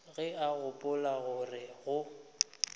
ge o gopola gore o